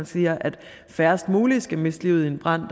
siger at færrest mulige skal miste livet i en brand